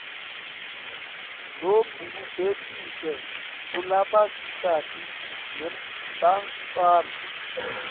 lobubhekiswe kulabasikati nebantfwana